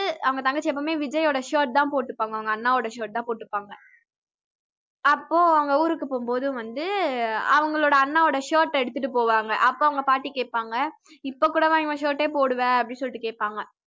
அவங்க தங்கச்சி எப்பவுமே வந்து விஜய்யோட shirt தான் போட்டுபாங்க அவங்க அண்ணாவோட shirt தான் போட்டுப்பாங்க அப்போ அவ்ங்க ஊருக்கு போகும்போது வந்து அவங்களோட அண்ணாவோட shirt எடுத்ததிட்டுப் போவாங்க அப்ப அவங்க பாட்டி கேப்பாங்க இப்ப கூடவா இவன் shirt யே போடுவ அப்படி சொல்லிட்டு கேப்பாங்க